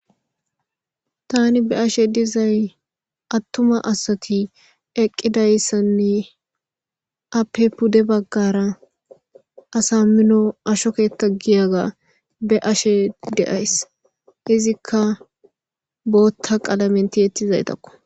Tanii be'ashshe dizay attumma assati eqididaysanne appe pude baggara assa mino ashsho Ketta giyaba be'ashshe de'ays izikka botta qallamen tiyetidayttakko